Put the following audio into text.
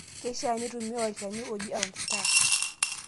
Keishaa nintumia olchani ojia apron star.